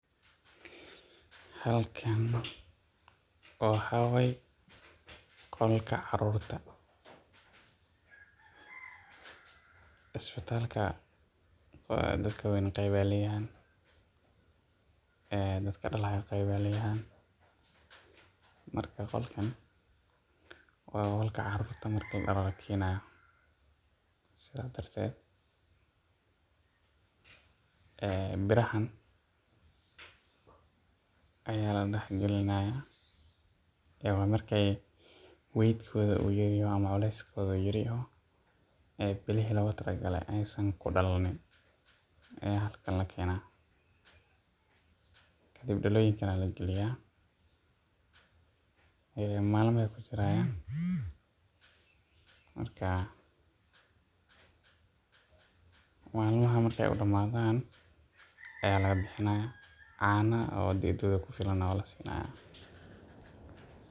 Halkaan waxaa waye qolka carurta isbitalka daatka waweyn qeyb ayuu leyahay datka dalaayo qeeb baay leyihiin marka qolkan wa qolka carurta marka la dhalo la kenayo sidha darteet daladaan n ayaa la daax galinayaa wa marka uu weight kodhaama culeyskodha uu yeryahay oo aay bilihi loga talagalaaay aysaan ku dalamim auaa halkaan la kadiib daloyinkaan ayaa lagaliyaaa maalmo ayee ku jirayaan kadiib malmaha markee u dhamadaan ayaa laga bixinayaa caaano oo ilmaha ku filan na wa la sinayaa.